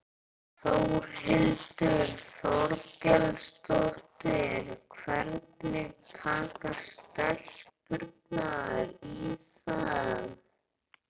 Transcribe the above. Þórhildur Þorkelsdóttir: Hvernig taka stelpurnar í það?